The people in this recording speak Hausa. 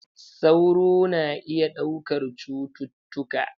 Sauro na iya ɗaukar cututtuka.